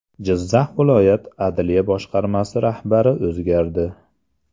Jizzax viloyat adliya boshqarmasi rahbari o‘zgardi.